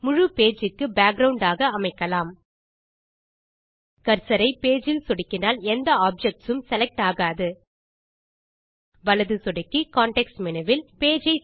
முழு பேஜ் க்கு பேக்கிரவுண்ட் ஆக அமைக்கலாம் கர்சர் ஐ பேஜ் இல் சொடுக்கினால் எந்த ஆப்ஜெக்ட்ஸ் உம் செலக்ட் ஆகாது வலது சொடுக்கி கான்டெக்ஸ்ட் மேனு வில்